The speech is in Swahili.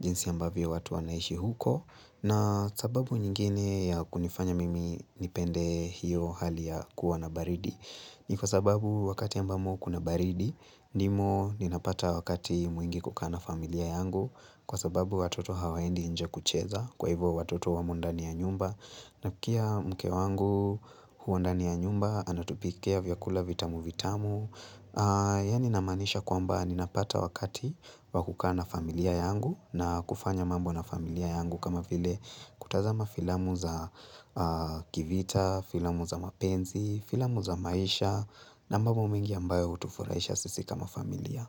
jinsi ambavyo watu wanaishi huko na sababu nyingine ya kunifanya mimi nipende hiyo hali ya kuwa na baridi ni kwa sababu wakati ambamo kuna baridi ndimo ninapata wakati mwingi kuka na familia yangu kwa sababu watoto hawaendi nje kucheza kwa hivyo watoto wamo ndani ya nyumba na pia mke wangu huwa ndani ya nyumba anatupikia vyakula vitamu vitamu yaani ninamaanisha kwamba ninapata wakati wa kukaa na familia yangu na kufanya mambo na familia yangu kama vile kutazama filamu za kivita, filamu za mapenzi, filamu za maisha na mambo mengi ambayo hutufurahisha sisi kama familia.